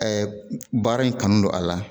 baara in kanu don a la